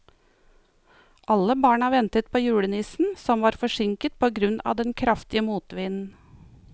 Alle barna ventet på julenissen, som var forsinket på grunn av den kraftige motvinden.